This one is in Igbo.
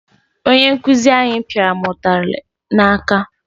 Onye nkuzi anyị pịara mụ ụtarị n'aka.